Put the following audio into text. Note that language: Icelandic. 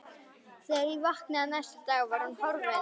Þegar ég vaknaði næsta dag var hún horfin.